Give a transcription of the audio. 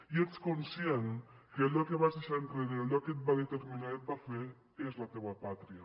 i ets conscient que allò que vas deixar enrere allò que et va determinar i et va fer és la teua pàtria